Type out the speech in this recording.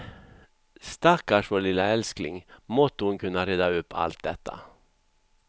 Stackars vår lilla älskling, måtte hon kunna reda upp allt detta.